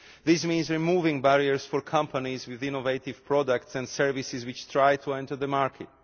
This means removing barriers for companies with innovative products and services which try to enter the market.